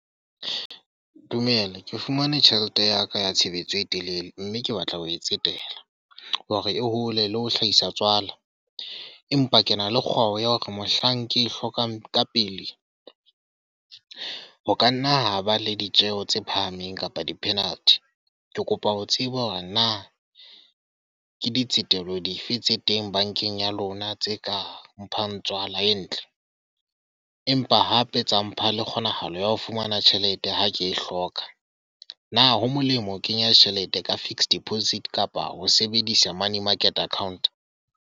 Dumela. Ke fumane tjhelete ya ka ya tshebetso e telele. Mme ke batla ho e tsetela, hore e hole le ho hlahisa tswala. Empa ke na le kgwao ya hore mohlang ke e hlokang ka pele ho ka nna ho ba le ditjeho tse phahameng kapa di-penalty. Ke kopa ho tseba hore na ke di tsetelo dife tse teng bankeng ya lona, tse ka mphang tswala e ntle. Empa hape tsa mpha le kgonahalo ya ho fumana tjhelete ga ke e hloka. Na ho molemo ho kenya tjhelete ka fixed deposit kapa ho sebedisa money market account?